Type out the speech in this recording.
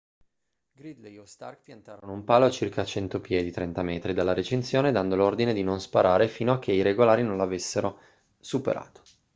gridley o stark piantarono un palo a circa 100 piedi 30 m dalla recinzione dando l'ordine di non sparare fino a che i regolari non lo avessero superato